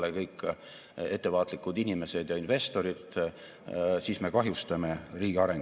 Teiseks, selleks, et aidata Eesti tööstusettevõtete tootlikkust tõsta ja suurendada nende kestlike eesmärkide saavutamist, investeerime kokku 56 miljonit eurot.